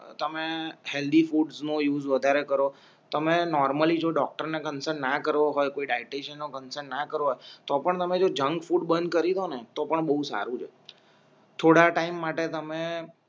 તમે હેલ્ધી ફૂડનો યૂઝ વધારે કરો તમે નોરમલલી જો ડોક્ટરને કન્સલ્ટ ના કરવો હોય કોઈ દાઈટેશન ના કરવો હોય તો પણ તમે જો જંક ફૂડ બંધ કરી ડો ને તો પણ બવ સારું છે થોડા ટાઇમ માટે તમે